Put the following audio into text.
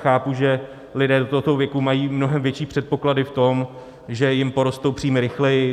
Chápu, že lidé do tohoto věku mají mnohem větší předpoklady v tom, že jim porostou příjmy rychleji.